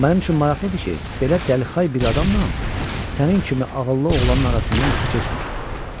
Mənim üçün maraqlıdır ki, belə dəlixay bir adamla sənin kimi ağıllı oğlanın arasından su keçmir.